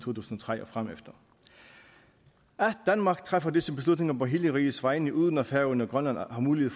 og tre og fremefter at danmark træffer disse beslutninger på hele rigets vegne uden at færøerne og grønland har mulighed